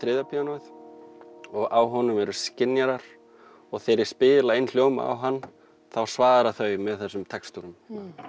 píanóið og á honum eru skynjarar og þegar ég spila inn hljóma á hann þá svara þau með þessum textum